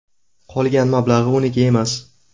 Qolgan mablag‘i uniki emas.